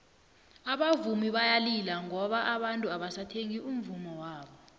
abavumi bayalila ngoba abantu abasathengi umvummo wabo